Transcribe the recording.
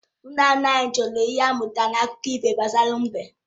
Nna nna m jụrụ ihe anyị mụtara n’akụkọ ifo gbasara mbe